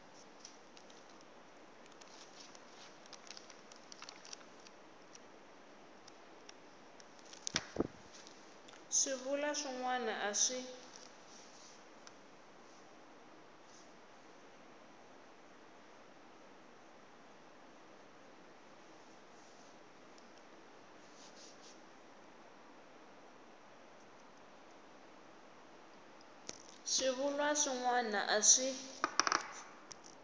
swivulwa swin wana a swi